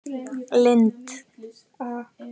Lind